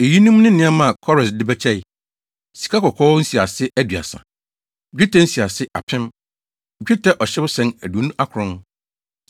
Eyinom ne nneɛma a Kores de bɛkyɛe: 1 sikakɔkɔɔ nsiase 2 30 1 dwetɛ nsiase 2 1,000 1 dwetɛ ɔhyewsɛn 2 29 1